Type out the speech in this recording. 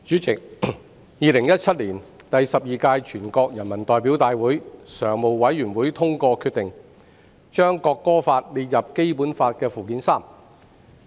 代理主席，在2017年，第十二屆全國人民代表大會常務委員會通過決定，把《中華人民共和國國歌法》列入《基本法》附件三。